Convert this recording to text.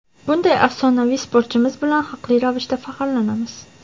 Bunday afsonaviy sportchimiz bilan haqli ravishda faxrlanamiz.